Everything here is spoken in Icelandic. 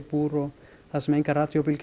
búr þar sem engar